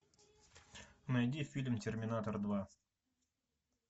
найди фильм терминатор два